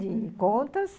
De contas.